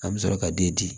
An bɛ sɔrɔ ka den di